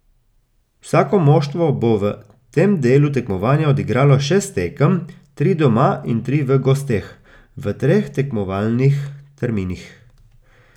Vsako moštvo bo v tem delu tekmovanja odigralo šest tekem, tri doma in tri v gosteh, v treh tekmovalnih terminih.